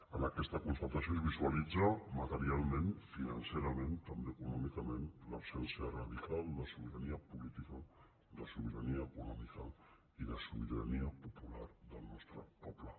en aquesta constatació es visualitza materialment financerament també econòmicament l’absència radical de sobirania política de sobirania econòmica i de sobirania popular del nostre poble